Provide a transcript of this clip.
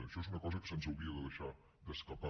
això és una cosa que se’ns hauria de deixar d’escapar